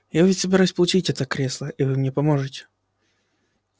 я ведь собираюсь получить это кресло и вы мне поможете